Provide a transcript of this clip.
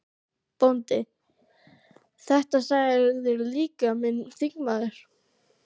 BÓNDI: Þetta sagði líka minn þingmaður